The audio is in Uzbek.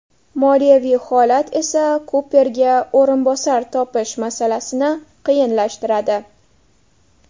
Moliyaviy holat esa Kuperga o‘rinbosar topish masalasini qiyinlashtiradi.